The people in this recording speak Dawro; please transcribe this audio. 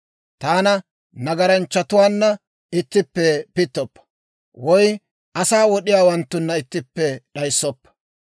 Taana nagaranchchatuwaanna ittippe pittoppa; woy asaa wod'iyaawanttunna ittippe d'ayissoppa.